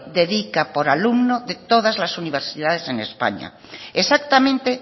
dedica por alumno de todas las universidades en españa exactamente